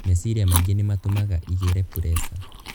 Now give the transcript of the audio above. Meciria maingĩ nĩ matũmaga igĩrĩ preca.